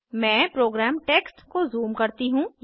मैं program text को zoom करती हूँ